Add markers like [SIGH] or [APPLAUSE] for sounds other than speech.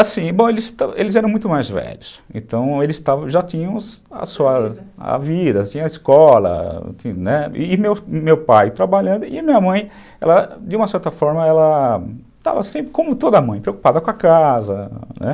Bom, eles eram muito mais velhos, então eles [UNINTELLIGIBLE] já tinham a vida, a escola, [UNINTELLIGIBLE] né, e meu pai trabalhando, e minha mãe, de uma certa forma, ela estava sempre, como toda mãe, preocupada com a casa.